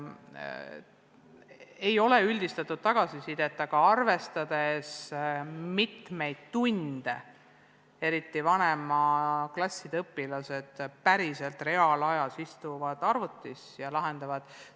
Ei ole üldistatud tagasisidet, aga peab arvestama, kui palju tunde eriti vanemate klasside õpilased päriselt reaalajas arvuti ees istuvad ja ülesandeid lahendavad.